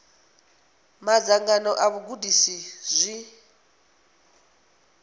na madzangano a vhagudisi zwi